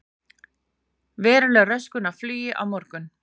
Veruleg röskun á flugi á morgun